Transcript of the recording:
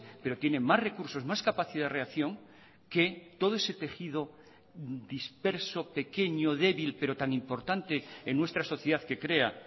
pero tiene más recursos más capacidad de reacción que todo ese tejido disperso pequeño débil pero tan importante en nuestra sociedad que crea